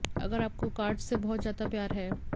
अगर आपको कार्ड्स से बहुत ज्यादा प्यार है